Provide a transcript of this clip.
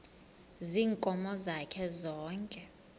ziinkomo zakhe zonke